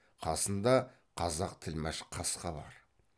қасында қазақ тілмәш қасқа бар